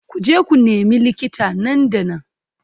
Ku je ku nemi likita nan da nan